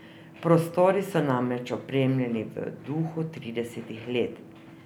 Prostori so namreč opremljeni v duhu tridesetih let.